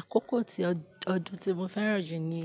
Àkókò ti-- ọdún tí mo fẹ́ràn jù ni